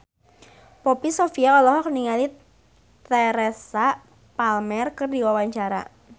Poppy Sovia olohok ningali Teresa Palmer keur diwawancara